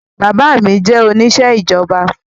Bàbá mi jẹ́ oníṣẹ́ ìjọba